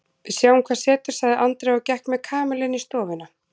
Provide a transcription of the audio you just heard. Við sjáum hvað setur sagði Andrea og gekk með Kamillu inn í stofuna.